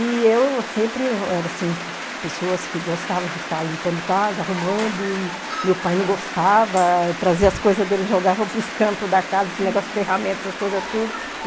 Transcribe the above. E eu sempre era, assim, pessoas que gostava de ficar limpando casa, arrumando, e meu pai não gostava, trazia as coisas dele e jogava pros cantos da casa, esse negócio de ferramentas, essas coisas tudo.